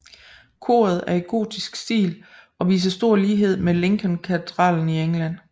Koret er i gotisk stil og viser stor lighed med Lincolnkatedralen i England